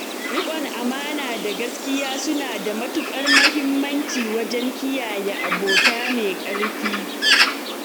Rikon amana da gaskiya suna da matukar muhimmanci wajen kiyaye abota mai ƙarfi.